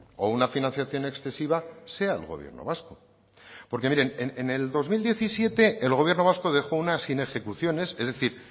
o una financiación excesiva sea el gobierno vasco porque miren en el dos mil diecisiete el gobierno vasco dejó una sin ejecuciones es decir